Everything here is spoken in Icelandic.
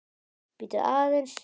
Bíddu aðeins!